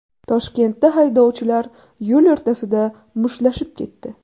Toshkentda haydovchilar yo‘l o‘rtasida mushtlashib ketdi .